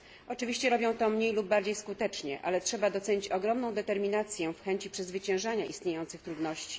Oczywiście robią to mniej lub bardziej skutecznie, ale trzeba docenić ogromną determinację w chęci przezwyciężania istniejących trudności.